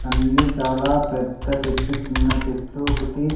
అన్నీ చాలా పెద్ద చెట్లు చిన్న చెట్లు ఒకటి--